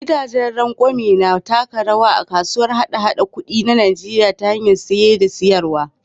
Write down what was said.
Gidajen rangwame na taka rawa a kasuwar hada-haɗar kuɗi ta Najeriya ta hanyar saye da sayarwa.